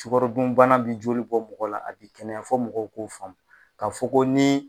Sukaro dunbana bɛ joli bɔ mɔgɔ la a bɛ kɛnɛya fɔ mɔgɔw koo faamu, ka fɔ ko ni.